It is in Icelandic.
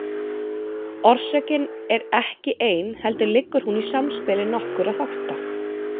Orsökin er ekki ein heldur liggur hún í samspili nokkurra þátta.